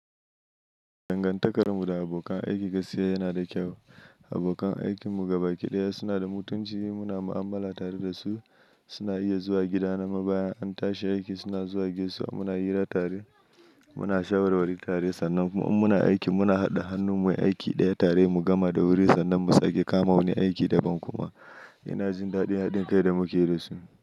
Dangantakar mu da abokan aiki gaskiya yana da kyau. Abokan aikin mu gabaki ɗaya suna da mutunci, muna mu'amala tare da su, suna iya zuwa gida na ma bayan an tashi aiki suna zuwa gaisuwa muna hira tare muna shawarwari tare, sannan kuma in muna aikin muna haɗa hannu muyi aiki ɗaya tare mu gama da wuri sannan mu sake kama wani aiki daban kuma. Ina jin daɗin haɗin kai da muke da su.